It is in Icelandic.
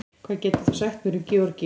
Hvað getur þú sagt mér um Georgíu?